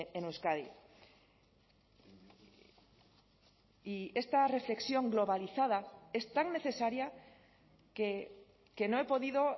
en euskadi y esta reflexión globalizada es tan necesaria que no he podido